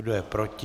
Kdo je proti?